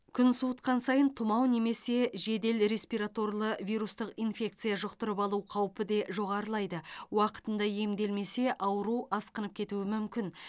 күн суытқан сайын тұмау немесе жедел респираторлы вирустық инфекция жұқтырып алу қаупі де жоғарылайды уақытында емделмесе ауру асқынып кетуі мүмкін